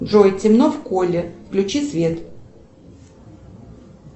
джой темно в холле включи свет